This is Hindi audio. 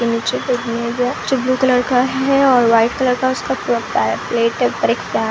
नीचे पे एक मेज़ है जो ब्लू कलर का है और वाइट कलर का उसका पुरा पैड प्लेट है ऊपर एक पै --